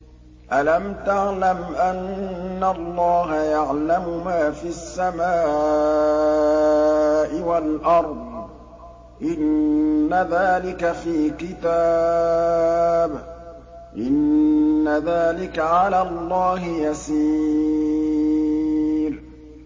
أَلَمْ تَعْلَمْ أَنَّ اللَّهَ يَعْلَمُ مَا فِي السَّمَاءِ وَالْأَرْضِ ۗ إِنَّ ذَٰلِكَ فِي كِتَابٍ ۚ إِنَّ ذَٰلِكَ عَلَى اللَّهِ يَسِيرٌ